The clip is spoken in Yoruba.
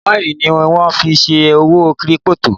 Kọ́ìnì ni wọ́n fí n ṣe òwò kírípítò